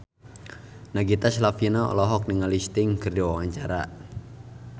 Nagita Slavina olohok ningali Sting keur diwawancara